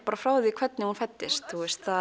frá því hvernig hún fæddist